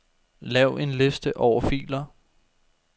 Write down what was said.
Lav en liste over filer.